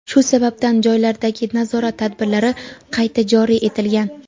shu sababdan joylardagi nazorat tadbirlari qayta joriy etilgan.